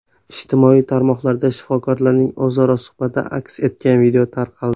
Ijtimoiy tarmoqlarda shifokorlarning o‘zaro suhbati aks etgan video tarqaldi .